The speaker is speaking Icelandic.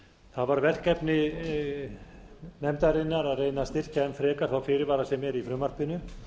var verkefni nefndarinnar að reyna að styrkja enn frekar þá fyrirvara sem eru í frumvarpinu